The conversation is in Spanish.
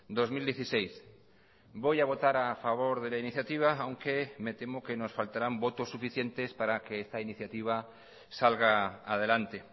dos mil dieciséis voy a votar a favor de la iniciativa aunque me temo que nos faltarán votos suficientes para que esta iniciativa salga adelante